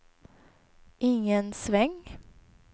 ingen sväng